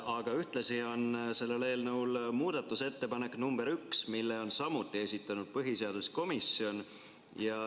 Aga ühtlasi on sellel eelnõul muudatusettepanek nr 1, mille on samuti esitanud põhiseaduskomisjon.